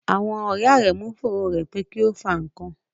Àwọn ọ̀rẹ̀ Áremú ǹ fòrọ è pe kí o fà nkàn.